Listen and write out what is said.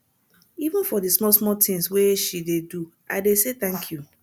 even for di smallsmall tins wey she dey do i dey say tank you